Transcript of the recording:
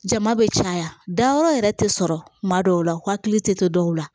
Jama bɛ caya dayɔrɔ yɛrɛ tɛ sɔrɔ kuma dɔw la hakili tɛ dɔw la